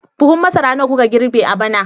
Buhun masara nawa kuka girbe a bana